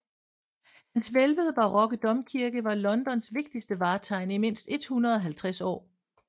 Hans hvælvede barokke domkirke var Londons vigtigste vartegn i mindst 150 år